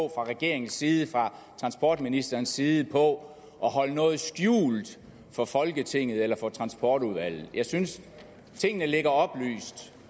regeringens side fra transportministerens side på at holde noget skjult for folketinget eller for transportudvalget jeg synes at tingene ligger oplyst